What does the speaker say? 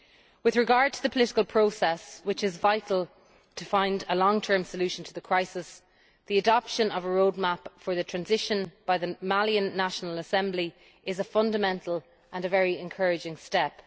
With regard to the political process, which is vital to finding a long term solution to the crisis, the adoption of a roadmap for the transition by the Malian National Assembly is a fundamental and a very encouraging step.